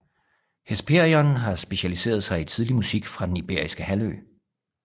Hesperion har specialiseret sig i tidlig musik fra Den Iberiske Halvø